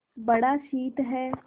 बड़ा शीत है